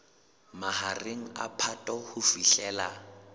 mahareng a phato ho fihlela